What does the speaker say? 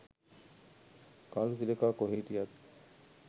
කළු තිලකා කොහෙ හිටියද